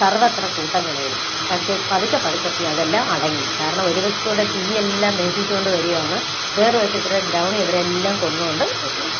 സര്‍വത്ര കൂട്ടനിലവിളി. പക്ഷേ പതുക്കെ പതുക്കെ അതെല്ലാം അടങ്ങി. കാരണം ഒരുവശത്തുകൂടെ തീയെല്ലാം ദഹിപ്പിച്ചുകൊണ്ട് വരുകയാണ്. വേറൊരു വശത്ത് ദ്രൗണി ഇവരെയെല്ലാം കൊന്നുകൊണ്ട് വരുകയാണ്.